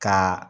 Ka